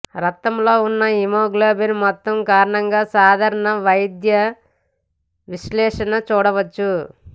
రక్తంలో ఉన్న హిమోగ్లోబిన్ మొత్తం కారణంగా సాధారణ వైద్య విశ్లేషణ చూడవచ్చు